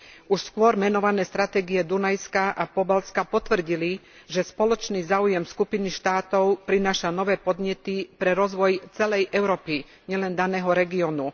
Už skôr menované stratégie Dunajská a Pobaltska potvrdili, že spoločný záujem skupiny štátov prináša nové podnety pre rozvoj celej Európy, nielen daného regiónu.